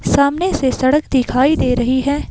सामने से सड़क दिखाई दे रही है।